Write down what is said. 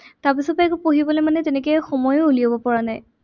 তাৰ পিছতে একো পঢ়িবলে মানে তেনেকে সময়ো উলিয়াব পৰা নাই।